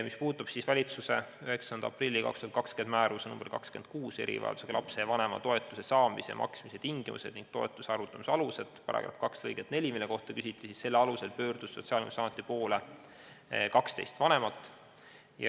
Mis puudutab valitsuse 9. aprilli 2020. aasta määruse nr 26 "Erivajadusega lapse vanema toetuse saamise ja maksmise tingimused ning toetuse arvutamise alused" § 2 lõiget 4, mille kohta küsiti, siis selle alusel pöördus Sotsiaalkindlustusameti poole 12 vanemat.